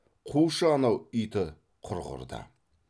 қушы анау иті құрғырды